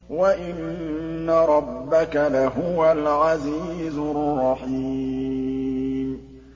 وَإِنَّ رَبَّكَ لَهُوَ الْعَزِيزُ الرَّحِيمُ